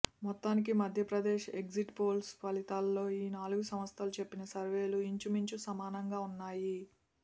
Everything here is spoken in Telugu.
మొత్తానికి మధ్య ప్రదేశ్ ఎగ్జిట్ పోల్స్ ఫలితాల్లో ఈ నాలుగు సంస్థలు చెప్పిన సర్వేలు ఇంచు మించు సమానంగా ఉన్నాయి